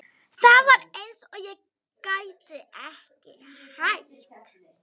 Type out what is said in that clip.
Það var eins og ég gæti ekki hætt.